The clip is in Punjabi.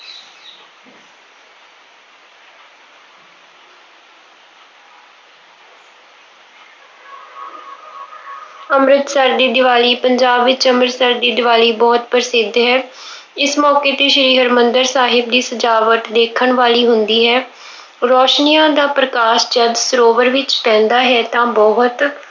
ਅੰਮ੍ਰਿਤਸਰ ਦੀ ਦੀਵਾਲੀ- ਪੰਜਾਬ ਵਿੱਚ ਅੰਮ੍ਰਿਤਸਰ ਦੀ ਦੀਵਾਲੀ ਬਹੁਤ ਪ੍ਰਸਿੱਧ ਹੈ। ਇਸ ਮੌਕੇ ਤੇ ਸ਼੍ਰੀ ਹਰਮੰਦਿਰ ਸਾਹਿਬ ਦੀ ਸਜਾਵਟ ਦੇਖਣ ਵਾਲੀ ਹੁੰਦੀ ਹੈ। ਰੌਸ਼ਨੀਆਂ ਦਾ ਪ੍ਰਕਾਸ਼ ਜਦ ਸਰੋਵਰ ਵਿੱਚ ਪੈਂਦਾ ਹੈ ਤਾਂ ਬਹੁਤ